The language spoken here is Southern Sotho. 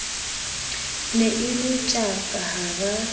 ne e le tjaka hara